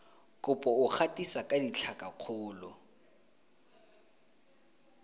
kopo o gatisa ka ditlhakakgolo